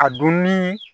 A dunni